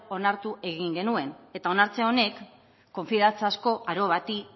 onartu egin genuen onartze honek konfiantzazko aro bati